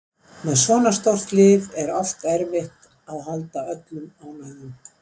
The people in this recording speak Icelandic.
Með svona stórt lið er oft erfitt að halda öllum ánægðum